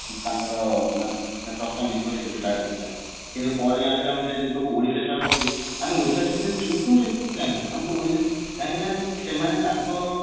ତାଙ୍କର ପ୍ରଥମ ବିଦ୍ରୋହ ସେଠୁ start ହେଇ ଥିଲା କିନ୍ତୁ ପରେ ଜାଣିଲୁ ଯେ ଆମେ ଓଡିଶାରେ start ହଉଛି ଆମ ଓଡିଶାରେ ସେଠି ଚୁପ ରହିଯାଉଛନ୍ତି କାହିଁକି ଆମେ ତ ଓଡିଶା କାହିଁକି ନା ସେମାନେ ତାଙ୍କ